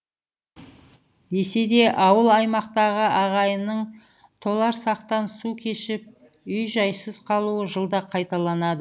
десе де ауыл аймақтағы ағайынның толарсақтан су кешіп үй жайсыз қалуы жылда қайталанады